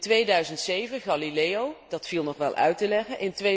In 2007 Galileo, dat viel nog wel uit te leggen